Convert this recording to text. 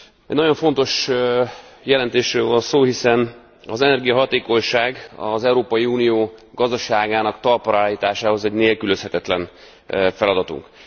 Egy nagyon fontos jelentésről van szó, hiszen az energiahatékonyság az Európai Unió gazdaságának talpra állításához egy nélkülözhetetlen feladatunk.